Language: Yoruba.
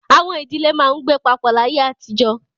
Àwọn ìdílé máa ń gbé papọ̀ láyé àtijọ́.